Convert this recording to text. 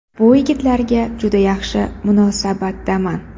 Bu yigitlarga juda yaxshi munosabatdaman.